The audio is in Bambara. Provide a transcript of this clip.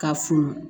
Ka funu